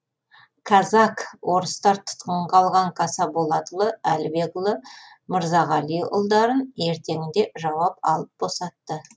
казак орыстар тұтқынға алған қасаболатұлы әлібекұлы мырзағалиұлдарын ертеңінде жауап алып босатты